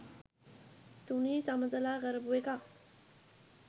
තුනී සමතලා කරපු එකක්